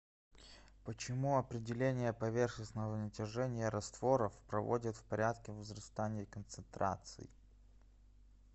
почему определение поверхностного натяжения растворов проводят в порядке возрастания концентраций